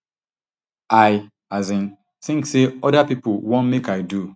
i as in tink say oda people wan make i do